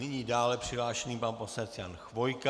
Nyní dále přihlášený pan poslanec Jan Chvojka.